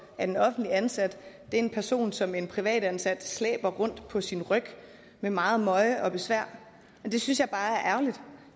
en offentligt ansat er en person som en privatansat slæber rundt på sin ryg med megen møje og besvær og det synes jeg bare er ærgerligt